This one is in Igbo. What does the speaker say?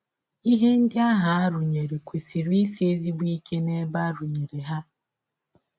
Ihe ndị ahụ a rụnyere kwesịrị isi ezigbo ike n’ebe a rụnyere ha.